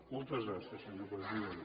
moltes gràcies senyor president